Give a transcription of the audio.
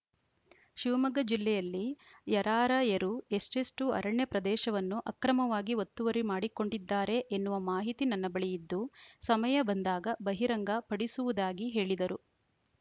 ಶಿವಮೊಗ್ಗ ಜಿಲ್ಲೆಯಲ್ಲಿ ಯರಾರ‍ಯರು ಎಷ್ಟೇಷ್ಟುಅರಣ್ಯ ಪ್ರದೇಶವನ್ನು ಅಕ್ರಮವಾಗಿ ಒತ್ತುವರಿ ಮಾಡಿಕೊಂಡಿದ್ದಾರೆ ಎನ್ನುವ ಮಾಹಿತಿ ನನ್ನ ಬಳಿ ಇದ್ದು ಸಮಯ ಬಂದಾಗ ಬಹಿರಂಗ ಪಡಿಸುವುದಾಗಿ ಹೇಳಿದರು